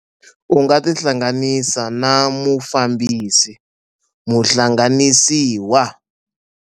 U nga tihlanganisa na Mufambisi - Muhlanganisiwa.